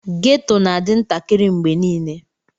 Ghetto na adi ntakari mgbe nile.